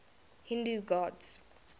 hindu gods